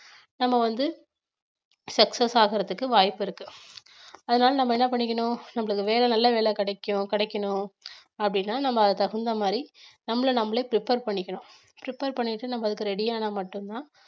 நம்ம வந்து success ஆகறதுக்கு வாய்ப்பிருக்கு அதனால நம்ம என்ன பண்ணிக்கணும் நம்மளுக்கு வேற நல்ல வேலை கிடைக்கும் கிடைக்கணும் அப்படின்னா நம்ம அதுக்கு தகுந்த மாதிரி நம்மள நாமளே prepare பண்ணிக்கணும் prepare பண்ணிட்டு நம்ம அதுக்கு ready ஆனா மட்டும்தான்